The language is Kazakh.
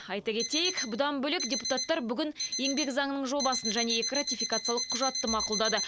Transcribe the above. айта кетейік бұдан бөлек депутаттар бүгін еңбек заңының жобасын және екі ратификациялық құжатты мақұлдады